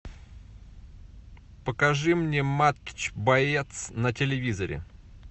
покажи мне матч боец на телевизоре